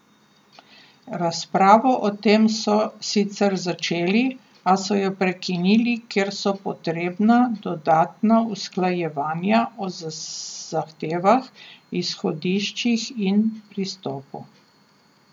Razpravo o tem so sicer začeli, a so jo prekinili, ker so potrebna dodatna usklajevanja o zahtevah, izhodiščih in pristopu.